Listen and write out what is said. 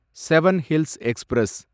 seven hills express